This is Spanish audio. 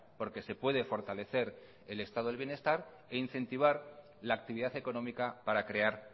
porque se puede fortalecer el estado de bienestar e incentivar la actividad económica para crear